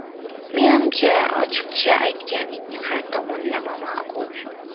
Menimcha, ochiqcha aytganing har tomonlama ma’qul’.